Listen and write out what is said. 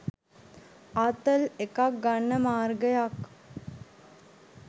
ආතල් එකක් ගන්න මාර්ගයක්